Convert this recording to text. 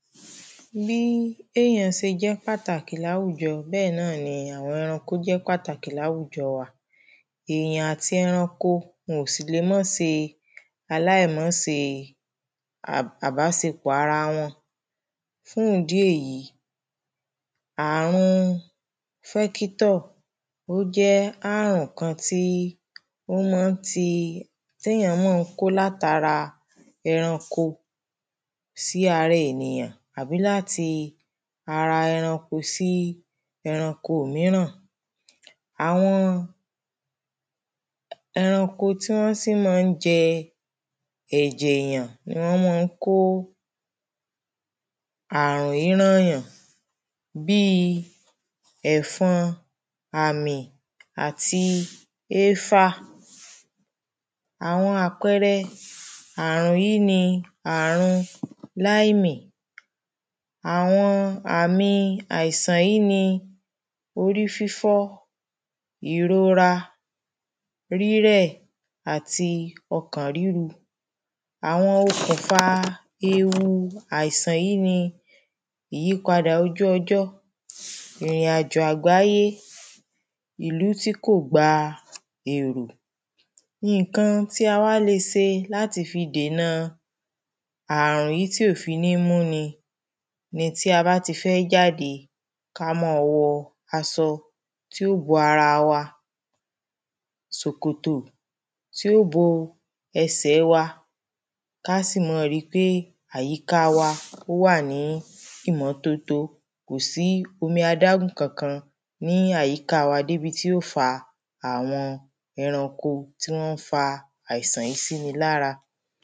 Bí èyàn ṣe jẹ́ pàtàkì láwùjọ, bẹ́ẹ̀ náà ni àwọn ẹranko jẹ́ pàtàkì láwùjọ wa. Èyàn àti eranko wọn ò sì le má ṣe aláìmásẹ àbásepọ̀ ara wọn, fún ìdí èyí àwọn vector ó jẹ́ àrùn kan tí ó ma ń ti, ti èyàn ma ń kó látara ẹranko sí ara èyàn, àbí láti ara ẹranko sí ẹranko míràn, àwọn eranko tí wọ́n sì ma ń jẹ ẹ̀jẹ̀ èyàn ni wọ́n ma ń kó àrùn yí rán yàn. Bí ẹ̀fọn, àmì, àti éfà, àwọn àpẹrẹ àrùn yí ni àrun laimi, àwọn àmi àìsàn yí ni, orí-fífọ́, ìrora, rírẹ̀, àti ọkàn ríru, àwọn okùnfa ewu àìsàn yí ni, ìyípadà ojú ọjọ́, ìrìn-àjo àgbáyé, ìlú tí kò gba èrò. Ǹkan tí a wá le ṣe, láti fi dènà àrùn yí, tí ò fi ní mú ni, ni tí a bá t’ifẹ́ jáde, ká ma wọ, aṣọ, tí o bo ara wa, sókótó tí ó bo ẹsẹ̀ wa, ká sì ma ri pé àyíka wa, ó wà ní ìmọ́tótó kòsí omi adágún kankan ní àyíká wa, dé bi tí ó fa àwọn ẹranko tí wọ́n fa àìsàn yí sì ni lára.